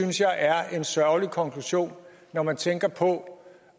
synes jeg er en sørgelig konklusion når man tænker på